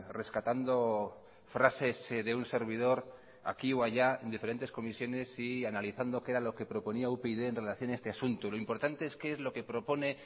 rescatando frases de un servidor aquí o allá en diferentes comisiones y analizando qué era lo que proponía upyd en relación a este asunto lo importante es qué es lo que propone